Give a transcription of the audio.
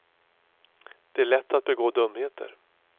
Det är lätt att begå dumheter.